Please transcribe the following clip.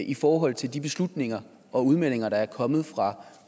i forhold til de beslutninger og udmeldinger der er kommet fra